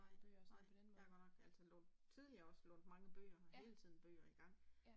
Nej, nej jeg har godt nok altid lånt tidligere også lånt mange bøger og har hele tiden bøger igang